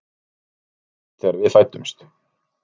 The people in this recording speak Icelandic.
Mamma veiktist þegar við fæddumst.